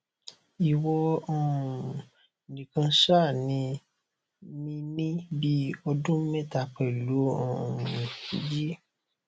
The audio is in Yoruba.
iwọ um nìkan ṣàní mi ní bí ọdún mẹta pẹlú um g